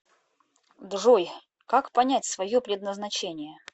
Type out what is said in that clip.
джой как понять свое предназначение